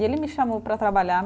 E ele me chamou para trabalhar.